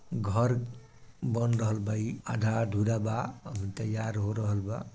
घर बन रहल बा ई आधा अधूरा बा अभी तैयार हो रहल बा।